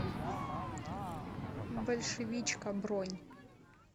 большевичка бронь